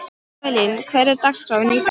Evelyn, hvernig er dagskráin í dag?